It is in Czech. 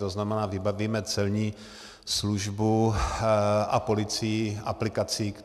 To znamená, vybavíme celní službu a policii aplikací.